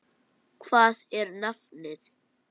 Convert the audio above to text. Hvað er nafnið?